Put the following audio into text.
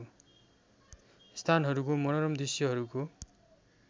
स्थानहरूको मनोरम दृश्यहरूको